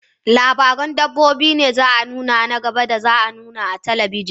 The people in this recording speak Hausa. Labaran dabbobi ne za a nuna na gaba da za a nuna a talabijin.